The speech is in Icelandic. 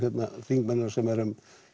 þingmennina sem erum